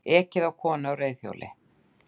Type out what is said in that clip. Ekið á konu á reiðhjóli